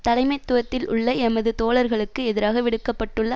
தலைமைத்துவத்தில் உள்ள எமது தோழர்களுக்கு எதிராக விடுக்க பட்டுள்ள